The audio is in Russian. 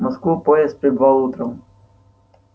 в москву поезд прибывал утром